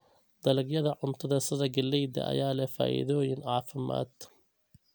Dalagyada cuntada sida galleyda ayaa leh faa'iidooyin caafimaad.